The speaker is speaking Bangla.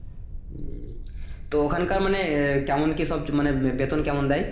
তো ওখানকার মানে আহ কেমন কি সব মানে বেতন কেমন দেয়